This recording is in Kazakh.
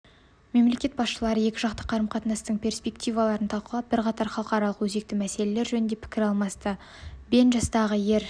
мемлекеттер басшылары екіжақты қарым-қатынастың перспективаларын талқылап бірқатар халықаралық өзекті мәселелер жөнінде пікір алмасты бен жастағы ер